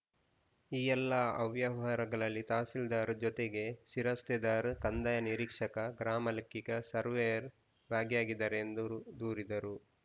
ಈ ಎಲ್ಲ ಅವ್ಯವಹಾರಗಳಲ್ಲಿ ತಹಸೀಲ್ದಾರ್‌ ಜೊತೆಗೆ ಶಿರಸ್ತೆದಾರ್‌ ಕಂದಾಯ ನಿರೀಕ್ಷಕ ಗ್ರಾಮ ಲೆಕ್ಕಿಗ ಸರ್ವೇಯರ್‌ ಭಾಗಿಯಾಗಿದ್ದಾರೆ ಎಂದು ದೂರಿದರು